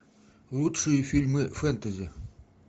лучшие фильмы фэнтези